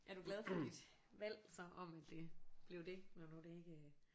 Er du glad for dit valg så om at det blev det når nu det ikke